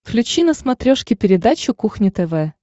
включи на смотрешке передачу кухня тв